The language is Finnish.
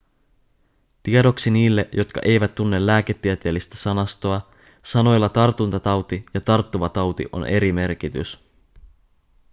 tiedoksi niille jotka eivät tunne lääketieteellistä sanastoa sanoilla tartuntatauti ja tarttuva tauti on eri merkitys